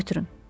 Götürün.